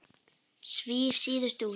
Svíf síðust út.